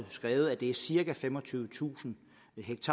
skrevet at det er cirka femogtyvetusind